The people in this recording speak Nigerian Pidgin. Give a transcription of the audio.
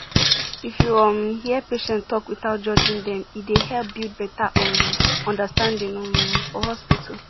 if you um hear patient talk without judging dem e dey help build better um understanding um for hospital